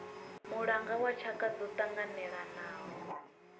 mulanga wa tshaka dzo tanganelanaho